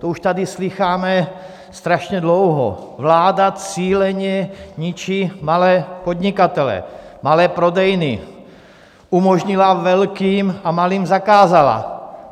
To už tady slýcháme strašně dlouho - vláda cíleně ničí malé podnikatele, malé prodejny, umožnila velkým a malým zakázala.